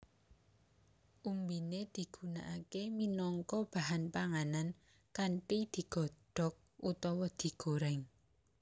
Umbiné digunakaké minangka bahan panganan kanthi digodhok utawa digorèng